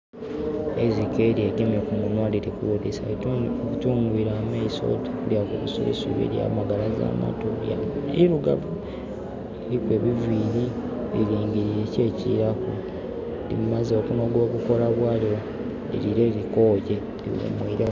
Eirike lyegemye kumunwa lilikuwulilisa. Litungwile amaiso, oti kulya mubusubisubi, lyamagalaza amatu. Irugavu, liriku ebiviiri, lilingilile kki ekiiraku. Limaze okunoga obukoola bwalyo, liliire likooye. Liwumwireku.